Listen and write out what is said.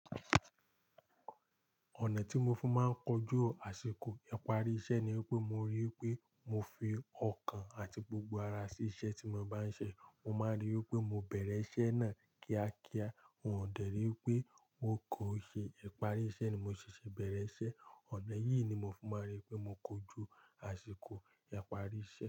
Ọ̀nà tí mo fi máa ń kojú àsìkò ìparí iṣẹ́ ni wípé mo rí i wípé mo fi ọkàn àti gbogbo ara sí iṣẹ́ tí mo bá ń ṣe. Mo máa rí i wípé mo bẹ̀rẹ̀ iṣẹ́ náà kíákíá, wọn ò dẹ̀rí wipé wọn kò ṣe ìparí iṣẹ́ ni mo ṣese bẹ̀rẹ̀ iṣẹ́. Ọ̀nà yìí ni mo fi máa ń rí i pé mo kojú àsìkò ìparí iṣẹ́.